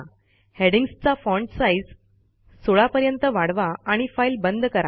हेडिंग्जचा font size 16 पर्यंत वाढवा आणि फाईल बंद करा